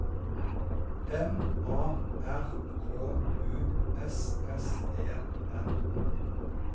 M A R K U S S E N